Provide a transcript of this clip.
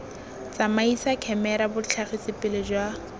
tsamaisa khemera botlhagisi pele jwa